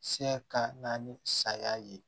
Se ka naani ni saya ye